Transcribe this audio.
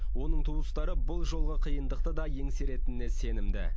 оның туыстары бұл жолғы қиындықты да еңсеретініне сенімді